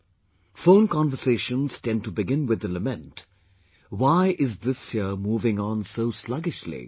" Phone conversations tend to begin with the lament, "why is this year moving on so sluggishly